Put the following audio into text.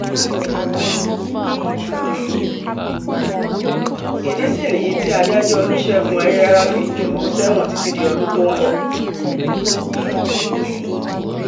ìdí sì nìyí tí adájọ́ olùṣègùn ayilára fi jù ú sẹ́wọ̀n títí di ọdún tó ń bọ̀